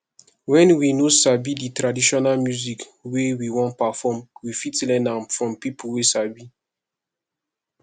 when we noo sabi di traditional music wey we wan perform we fit learn am from pipo wey sabi